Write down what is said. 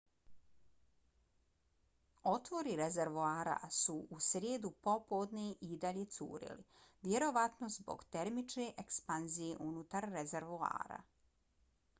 otvori rezervoara su u srijedu popodne i dalje curili vjerovatno zbog termičke ekspanzije unutar rezervoara